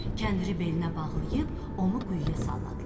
Kəndiri belinə bağlayıb onu quyuya salladılar.